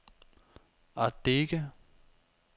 Ardeche